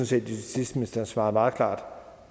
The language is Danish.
set at justitsministeren svarer meget klart når